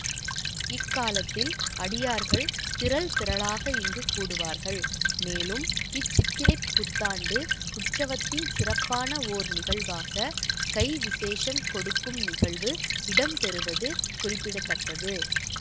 இக்காலத்தில் அடியார்கள் திரள் திரளாக இங்கு கூடுவார்கள் மேலும் இச் சித்திரைப்புத்ததாண்டு உற்சவத்தின் சிறப்பான ஓர் நிகழ்வாக கை விசேஷம் கொடுக்கும் நிகழ்வு இடம்பெறுவது குறிப்பிட தக்கது